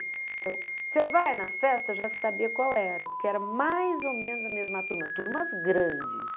Então, você vai na festa, já se sabia qual era, porque era mais ou menos a mesma turma, turmas grandes.